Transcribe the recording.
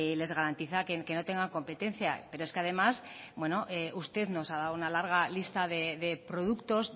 les garantiza que no tengan competencia pero es que además usted nos ha dado una larga lista de productos